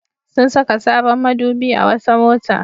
Sun saka sabon madubi a wata mota.